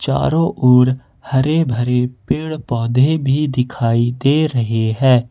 चारों ओर हरे भरे पेड़ पौधे भी दिखाई दे रहे हैं।